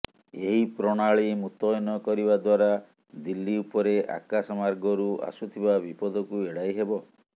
ଏହି ପ୍ରଣାଳୀ ମୁତୟନ କରିବା ଦ୍ୱାରା ଦିଲ୍ଲୀ ଉପରେ ଆକାଶମାର୍ଗରୁ ଆସୁଥିବା ବିପଦକୁ ଏଡାଇ ହେବ